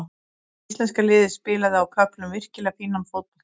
Íslenska liðið spilaði á köflum virkilega fínan fótbolta.